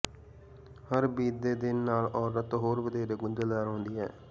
ਹਰ ਬੀਤਦੇ ਦਿਨ ਨਾਲ ਔਰਤ ਹੋਰ ਵਧੇਰੇ ਗੁੰਝਲਦਾਰ ਹੁੰਦੀ ਹੈ